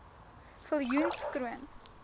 viljoenskroon